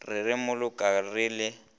re re mmoloka re le